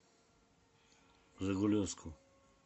жигулевску